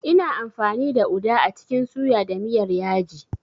Ina amfani da uda a cikin suya da miyar yaji.